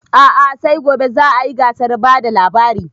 A'a sai gobe za a yi gasar bada labari